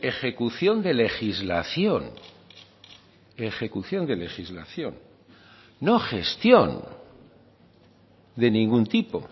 ejecución de legislación ejecución de legislación no gestión de ningún tipo